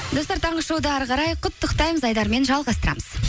достар таңғы шоуды әрі қарай құттықтаймыз айдарымен жалғастырамыз